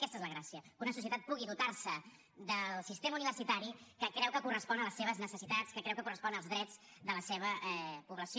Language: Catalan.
aquesta és la gràcia que una societat pugui dotar se del sistema universitari que creu que correspon a les seves necessitats que creu que correspon als drets de la seva població